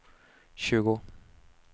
tjugo